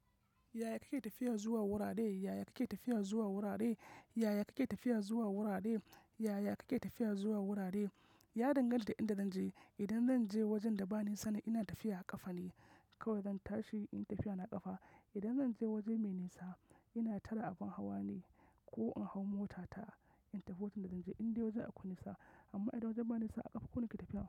Yaya kake tafiya zuwa wurare? Yaya kake tafiya zuwa wurare? Yaya kake tafiya zuwa wurare? Yaya kake tafiya zuwa wurare? Ya danganta inda zan je. Idan zan je wajen da ba nisa ina tafiya a ƙafa ne kawai zan tashi in tafiya na a ƙafa. Idan zan je waje mai nisa ina tara abin hawa ne ko in hau mota ta intafi wajen da zan je indai wajen akwai nisa. Amma idan wajen ba nisa a ƙafa kawai nake tafiya.